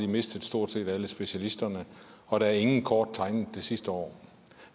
mistet stort set alle specialisterne og der er ingen kort blevet tegnet det sidste år